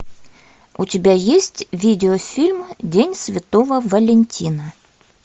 у тебя есть видеофильм день святого валентина